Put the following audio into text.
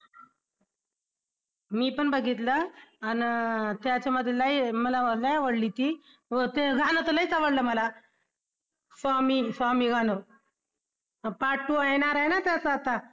मी पण बघितलं अन त्याच्यामध्ये लई मला लई आवडली ती ते गाणं तर लईच आवडलं मला स्वामी स्वामी गाणं अं part two येणार आहे ना त्याचा आता?